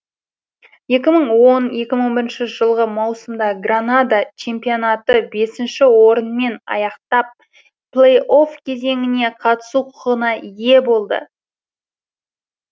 екі мың он он бірінші жылғы маусымда гранада чемпионатты бесінші орынмен аяқтап плей офф кезеңіне қатысу құқығына ие болды